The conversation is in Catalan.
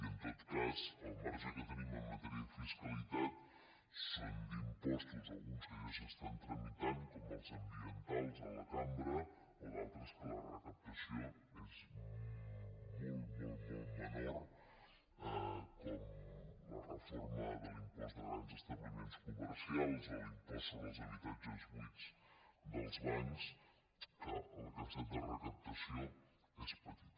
i en tot cas el marge que tenim en matèria de fiscalitat són d’impostos alguns que ja s’estan tramitant com els ambientals a la cambra o d’altres en què la recaptació és molt molt menor com la reforma de l’impost de grans establiments comercials o l’impost sobre els habitatges buits dels bancs en què la capacitat de recaptació és petita